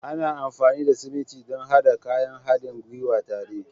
Ana amfani da siminti don haɗa kayan haɗin gwiwa tare